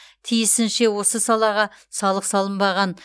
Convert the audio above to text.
тиісінше осы салаға салық салынбаған